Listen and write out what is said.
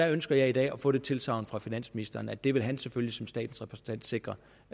ønsker i dag at få det tilsagn fra finansministeren at det vil han selvfølgelig som statens repræsentant sikre